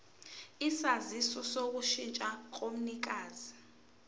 isaziso sokushintsha komnikazi